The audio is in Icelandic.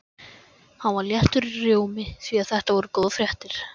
Hann var léttur í rómi því þetta voru góðar fréttir.